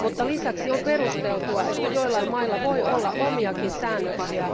Lisäksi on perusteltua, että joillain mailla voi olla omiakin säännöksiä.